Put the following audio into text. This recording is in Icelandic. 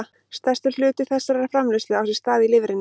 Stærstur hluti þessarar framleiðslu á sér stað í lifrinni.